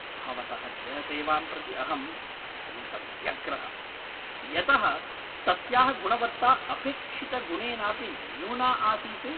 भवतः गृहसेवां प्रति अहं अत्यन्तं व्यग्रः। यतः तस्याः गुणवत्ता अपेक्षितगुणेनापि न्यूना आसीत्।